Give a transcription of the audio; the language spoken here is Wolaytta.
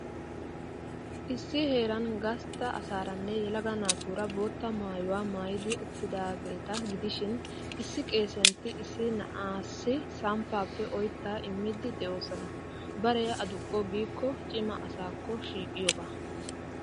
Issi heeran gastta asaaranne yelaga naatuura bootta maayuwaa maayidi uttidaageeta gidishin, issi Qeesiyantti issi na'aassi samppaappe oyttaa immiiddi de'oosona. Baree aduqqo giikko cima asaakko shiiqiyooga.